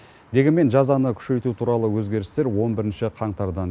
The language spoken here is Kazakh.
дегенмен жазаны күшейту туралы өзгерістер он бірінші қаңтардан